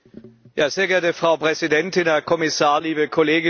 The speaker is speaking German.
Frau Präsidentin, Herr Kommissar, liebe Kolleginnen und Kollegen!